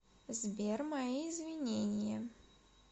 сбер мои извинения